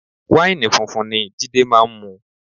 Wáìnì funfun ni Jide máa ń mu